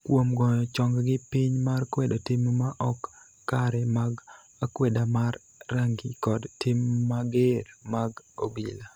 kuom ngoyo chonggi piny mar kwedo tim ma ok kare mag akweda mar rangi kod tim mager mag obila